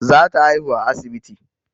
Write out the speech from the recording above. Za ta haihu a asibiti